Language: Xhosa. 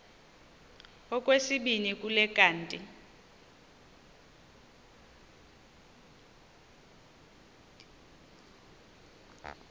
okwesibini kuthi kanti